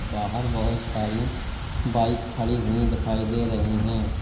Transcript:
बाहर बहोत सारी बाइक खड़ी हुई दिखाई दे रही हैं।